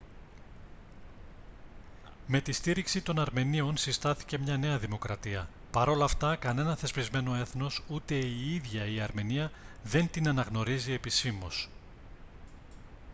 με τη στήριξη των αρμενίων συστάθηκε μια νέα δημοκρατία παρ' όλα αυτά κανένα θεσπισμένο έθνος ούτε η ίδια η αρμενία δεν την αναγνωρίζει επισήμως